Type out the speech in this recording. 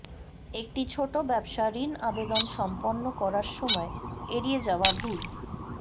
একটি ছোট ব্যবসা ঋণ আবেদন সম্পন্ন করার সময় এড়িয়ে যাওয়া ভুল